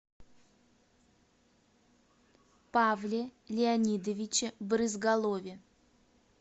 павле леонидовиче брызгалове